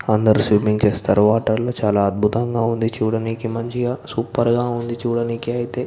అదరు స్లెంమింగ్ చేస్తారు వాటర్ లొ చూడానికి చాలా అదుముతము గ సూపర్ గ చుడానికి అయితే.